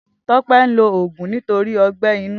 Tope n ló ógún nitóri ọgbẹ inù